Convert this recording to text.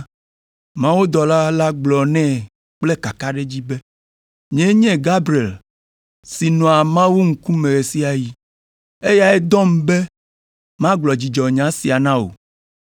Mawudɔla la gblɔ nɛ kple kakaɖedzi be, “Nyee nye Gabriel si nɔa Mawu ŋkume ɣe sia ɣi. Eyae dɔm be magblɔ dzidzɔnya sia na wò,